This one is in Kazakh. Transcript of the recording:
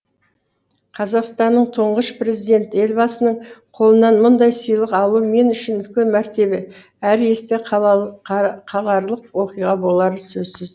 қазақстанның тұңғыш президенті елбасының қолынан мұндай сыйлық алу мен үшін үлкен мәртебе әрі есте қаларлық оқиға болары сөзсіз